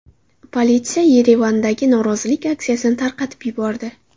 Politsiya Yerevandagi norozilik aksiyasini tarqatib yubordi.